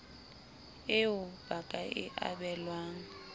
eo ba ka e abelwang